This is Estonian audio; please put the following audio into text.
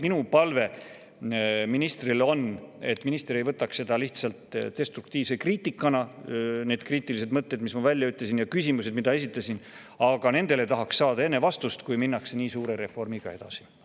Minu palve ministrile on, et minister ei võtaks seda lihtsalt destruktiivse kriitikana – neid kriitilisi mõtteid, mis ma välja ütlesin, ja küsimusi, mida esitasin –, aga nendele tahaks saada vastuse enne, kui nii suure reformiga edasi minnakse.